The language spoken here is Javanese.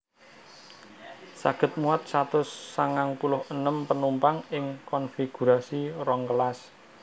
Saged muat satus sangang puluh enem penumpang ing konfigurasi rong kelas